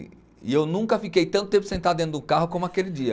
E eu nunca fiquei tanto tempo sentado dentro do carro como aquele dia.